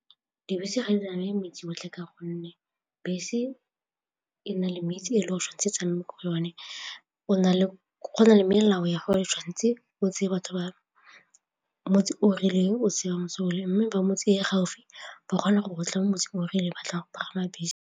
Dibese ga di tsamaye motse otlhe ka gonne bese e na le metse e le o tshwan'tse e tsamaye ka yone go na le melao ya gore tshwanetse o tseye batho ba motse o rileng o se se o le mme ba motse ya gaufi ba kgona go tla motse o rileng ba tla go pagama bese.